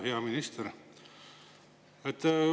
Hea minister!